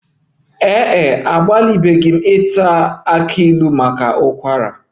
Ee e, anwalebeghị m iwere kola nut maka ụkwara